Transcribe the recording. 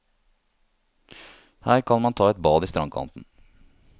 Her kan man ta et bad i strandkanten.